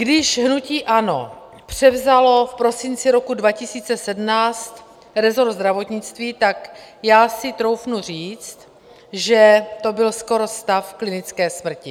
Když hnutí ANO převzalo v prosinci roku 2017 resort zdravotnictví, tak já si troufnu říct, že to byl skoro stav klinické smrti.